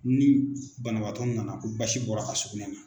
Ni banabaatɔ nana ko basi bɔra a ka sugunɛ na.